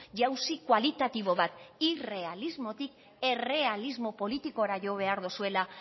jauzi kualitatibo bat irrealismotik errealismo politikora jo behar dozuela